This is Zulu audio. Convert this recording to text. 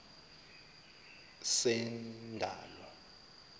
sendalo